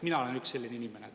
Mina olen üks selline inimene.